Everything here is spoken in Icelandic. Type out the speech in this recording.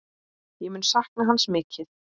Ég mun sakna hans mikið.